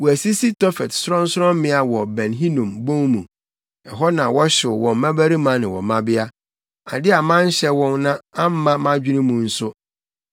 Wɔasisi Tofet sorɔnsorɔmmea wɔ Ben Hinom bon mu; ɛhɔ na wɔhyew wɔn mmabarima ne wɔn mmabea. Ade a manhyɛ wɔn na amma mʼadwene mu nso.